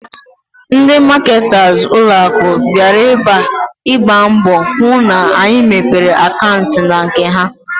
Ndị maketas ụlọaku bịara ebe a, ịgba mbọ hụ na anyị mepere akantị n'nke ha